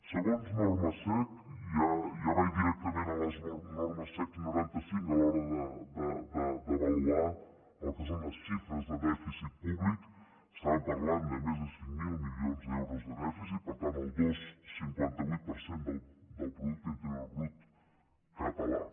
segons normes sec i ja vaig directament a les normes sec noranta cinc a l’hora d’avaluar el que són les xifres de dèficit públic estàvem parlant de més de cinc mil milions d’euros de dèficit per tant el dos coma cinquanta vuit per cent del producte interior brut català